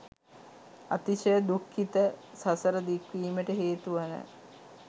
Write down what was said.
අතිශය දුක්ඛිත සසර දික්වීමට හේතුවන